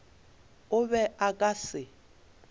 o be a ka se